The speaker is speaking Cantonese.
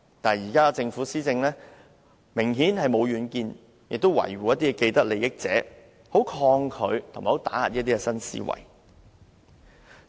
可是，現在的政府施政明顯沒有遠見，只懂維護某些既得利益者，很抗拒一些新思維，甚至加以打壓。